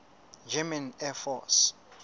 german air force